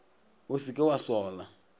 o se ke wa sola